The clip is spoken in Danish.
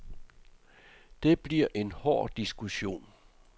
Det bliver en hård diskussion.